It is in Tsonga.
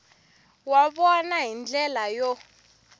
wa vona hi ndlela yo